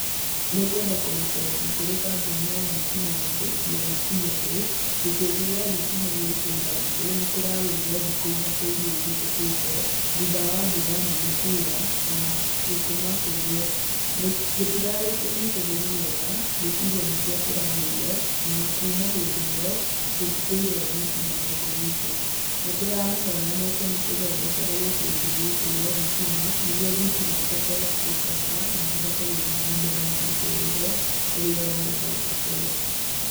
Nĩngwenda kũriboti kũrĩ kambuni ya thitima ya KPLC, atĩ gĩkĩngĩ gĩa thitima gĩa itũra ritũ nĩkĩragũire thikũ ithatũ irĩa ihetũkĩte thutha wa mbura nene kuura na gũtũma kĩgũe. Gĩtirarĩ kĩnyitĩrĩru wega ngwĩciria nĩkĩo kĩragũire, na kũma hĩndĩ ĩ yo gũtitũire thitima gũkũ gwitũ, nĩndĩramũhoya mũke mũtũthondekere gĩkĩngĩ gĩkĩ gĩa thitima, nĩguo thitima ihote gũcoka na tũhote gũthiĩ na mbere na mũtũrire ũrĩa ũrarĩ hau kambere.